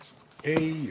Sulgen läbirääkimised.